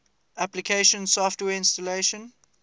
application software installation